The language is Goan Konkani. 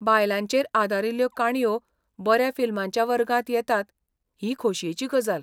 बायलांचेर आदारिल्ल्यो काणयो बऱ्या फिल्माच्या वर्गांत येतात ही खोशयेची गजाल.